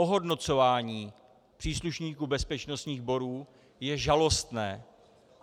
Ohodnocování příslušníků bezpečnostních sborů je žalostné.